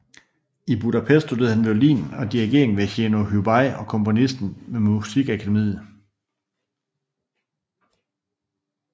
I Budapest studerede han violin og dirigering ved Jenõ Hubay og komposition ved Musikakademiet